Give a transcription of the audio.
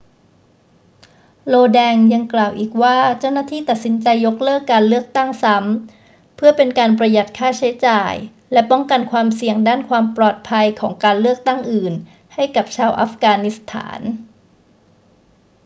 lodin ยังกล่าวอีกว่าเจ้าหน้าที่ตัดสินใจยกเลิกการเลือกตั้งซ้ำเพื่อเป็นการประหยัดค่าใช้จ่ายและป้องกันความเสี่ยงด้านความปลอดภัยของการเลือกตั้งอื่นให้กับชาวอัฟกานิสถาน